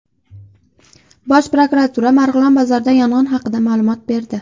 Bosh prokuratura Marg‘ilon bozoridagi yong‘in haqida ma’lumot berdi.